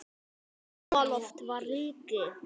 Háaloft var ríki